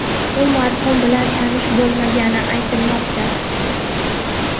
U marhum bilan tanish bo‘lmagani aytilmoqda.